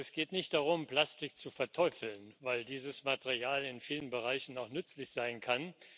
Es geht nicht darum, Plastik zu verteufeln, weil dieses Material in vielen Bereichen auch nützlich sein kann.